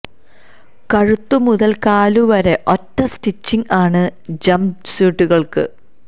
കഴുത്തു മുതല് കാലു വരെ ഒറ്റ സ്റ്റിച്ചിംഗ് ആണ് ജംപ് സ്യൂട്ടുകള്ക്ക്